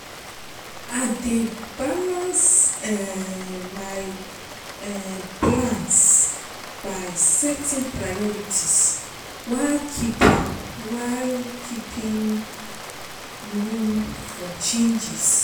I dey balance um my um plans by setting priorities while keeping while keeping room for changes.